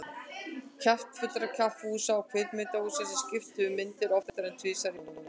Kjaftfullra kaffihúsa og kvikmyndahúsa sem skiptu um myndir oftar en tvisvar í mánuði.